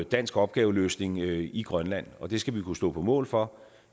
dansk opgaveløsning i i grønland og det skal vi kunne stå på mål for